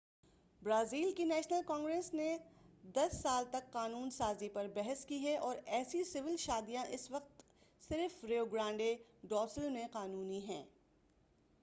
Brazil کی national congress نے 10 سال تک قانون سازی پر بحث کی ہے اور ایسی سول شادیاں اس وقت صرف ریو گرانڈے ڈو سُل میں قانُونی ہیں